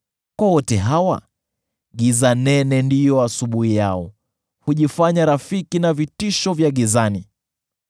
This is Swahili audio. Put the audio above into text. Kwa wote hawa, giza nene ndiyo asubuhi yao; hujifanya rafiki na vitisho vya gizani.